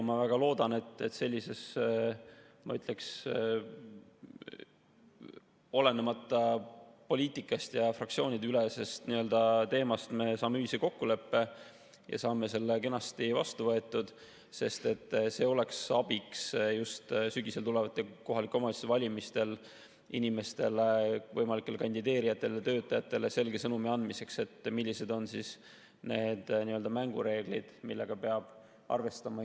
Ma väga loodan, et olenemata poliitikast me saame fraktsioonideülesel teemal ühisele kokkuleppele ja saame selle seaduse kenasti vastu võetud, sest see oleks abiks just sügisel tulevatel kohaliku omavalitsuse valimistel inimestele, võimalikele kandideerijatele, töötajatele selge sõnumi andmiseks, millised on need mängureeglid, millega peab arvestama.